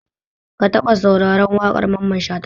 Ka taɓa sauraren waƙar Mamman Shata?